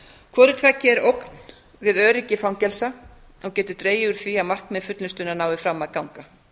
hvoru tveggja er ógn við öryggi fangelsa og getur dregið úr því að markmið fullnustunnar nái fram að ganga